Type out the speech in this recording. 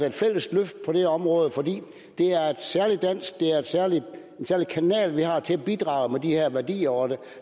et fælles løft på det område fordi det er en særlig dansk kanal til at bidrage med de her værdier og der